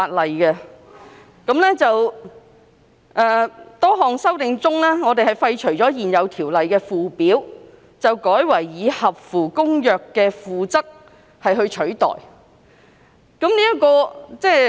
此外，政府亦提出多項修訂，建議廢除現有《條例》的附表，並代以《公約》的《附則 II》。